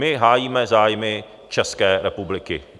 My hájíme zájmy České republiky.